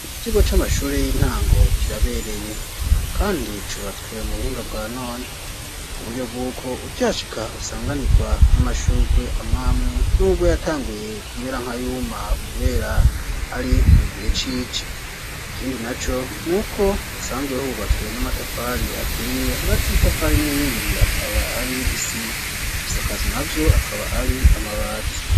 Iki kigo c'amashure y'intango kirabereye kandi cubatswe mu buhinga bwa none ku buryo bw'uko ukihashika usanganirwa n'amashurwe amwamwe n'ubwo yatanguye kumera nka yuma kubera ari mugihe cici ikindi naco nuko hsanzwe hubatswe n'amatafari aturiye hagati y'itafari n'rindi akaba ari isima ibisakazo navyo akaba ari amabati.